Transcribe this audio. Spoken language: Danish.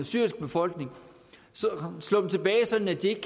syriske befolkning slå dem tilbage sådan at de